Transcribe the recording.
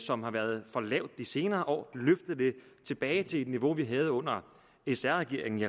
som har været for lavt de senere år tilbage til det niveau vi havde under sr regeringen i